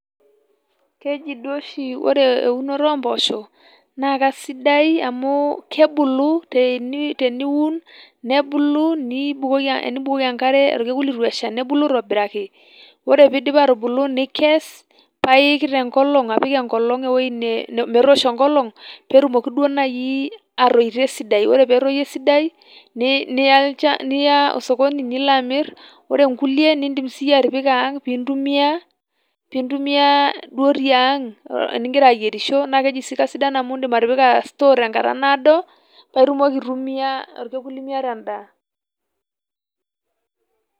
Keji duo oshi ore eunoto oo mpoosho naa kaisidai amu kebulu teniun, nebulu enibukoki enkare olkekun leitu esha. Ore pee eidip aatubulu nikes paa iik apik enkolong metoosho enkolong. Pee etumoki duo naaji aatoito esidai. Ore pee etoyu esidai niya osokoni nilo amirr ore nkulie nidim siiyie atipika ang pee intumia , intumia duo tiang enigira ayierisho naa keji sii keisidai amu idim atipika store tenkata naado paa itumoki aitumia enkata nimiata endaa.